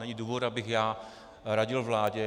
Není důvod, abych já radil vládě.